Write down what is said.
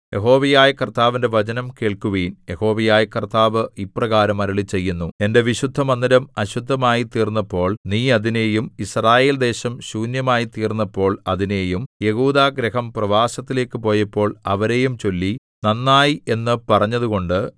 യഹോവയായ കർത്താവിന്റെ വചനം കേൾക്കുവിൻ യഹോവയായ കർത്താവ് ഇപ്രകാരം അരുളിച്ചെയ്യുന്നു എന്റെ വിശുദ്ധമന്ദിരം അശുദ്ധമായിത്തീർന്നപ്പോൾ നീ അതിനെയും യിസ്രായേൽദേശം ശൂന്യമായിത്തീർന്നപ്പോൾ അതിനെയും യെഹൂദാഗൃഹം പ്രവാസത്തിലേക്കു പോയപ്പോൾ അവരെയും ചൊല്ലി നന്നായി എന്ന് പറഞ്ഞതുകൊണ്ട്